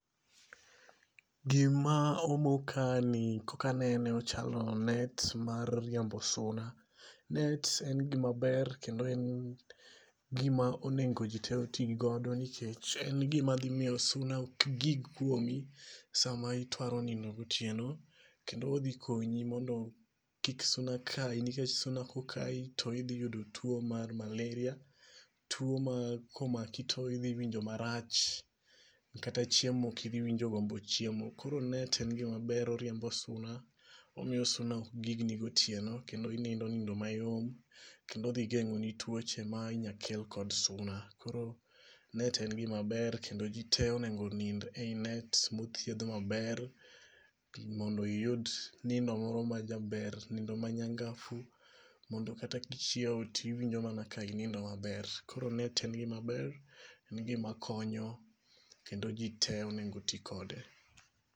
Gima omo ka ni kakanene ochalo net mar riembo suna. Net en gima ber kendo e gima onengo ji te oti godo nikech en gima dhimiyo suna ok gig kuomi sama itwaro nindo gitieno. Kendo odhi konyi mondo kik suna kayi nikech suna kokayi to idhi yudo tuo mar malaria. Tuo ma komaki to idhi winjo marach kata chiemo ok idhi winjo gombo chiemo. Koro net e gima ber oriembo suna. Omiyo suna ok gigni gotieno kendo inindo nindo mayom. Kendo odhi geng'o ni tuoche ma inya kel kod suna. Koro net en gima maber kendo ji te onengo onind e yi net mothiedh maber. Mondo iyud nindo moro ma jaber, Nindo ma nyangafu. Mondo kata kichiew tiwinjo mana ka inindo maber. Koro net en gima ber. En gima konyo kendo ji te onego ti kode.